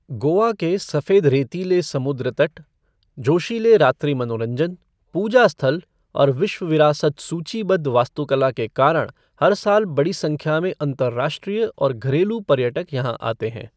गोवा के सफेद रेतीले समुद्र तट, जोशीले रात्रि मनोरंजन, पूजा स्थल और विश्व विरासत सूचीबद्ध वास्तुकला के कारण हर साल बड़ी संख्या में अंतर्राष्ट्रीय और घरेलू पर्यटक यहाँ आते हैं।